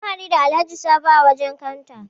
Mun hadu da Alhaji Sabo a wajen kanta.